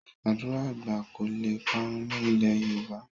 Ádùrá àgbà kò le parun ní ilẹ̀ Yorùbá